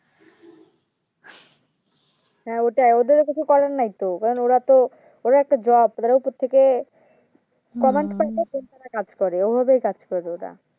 হ্যাঁ ওটাই ওদেরও কিছু করার নেই তো কারণ ওরা তো ওদের একটা Job ওদের ওপর থেকে Command করে সেই কাজ করে ওভাবেই কাজ করে ওরা